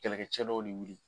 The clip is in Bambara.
Kɛlɛkɛcɛ dɔw de wuli